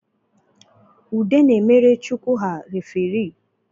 Ude na-emere chukwu ha referi